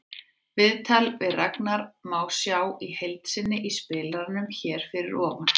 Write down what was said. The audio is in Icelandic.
Viðtalið við Ragnar má sjá í heild sinni í spilaranum hér fyrir ofan.